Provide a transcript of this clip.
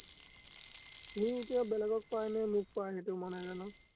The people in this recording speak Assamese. সি এতিয়া বেলেগক পায় নে মোক পায়, সেইটো মই নাজানো।